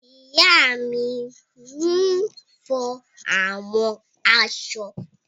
Ìyá mi n fọ àwọn aṣọ